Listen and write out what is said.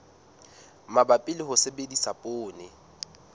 mabapi le ho sebedisa poone